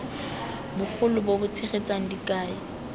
bogolo bo bo tshegetsang dikai